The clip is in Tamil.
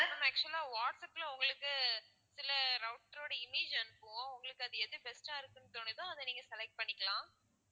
ma'am actual ஆ வாட்ஸ அப்ல உங்களுக்கு சில router ஓட image அனுப்புவோம் உங்களுக்கு அது எது best ஆ இருக்குன்னு தோணுதோ அதை நீங்க select பண்ணிக்கலாம்